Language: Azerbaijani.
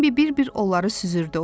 Bembi bir-bir onları süzürdü.